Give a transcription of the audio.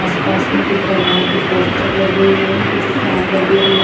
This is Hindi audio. आसपास में कुछ भगवान के पोस्टर लगे हुए हैं कुछ फैन लगे हुए--